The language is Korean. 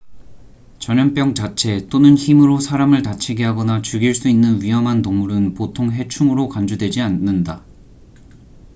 전염병 자체 또는 힘으로 사람을 다치게 하거나 죽일 수 있는 위험한 동물은 보통 해충으로 간주되지 않는다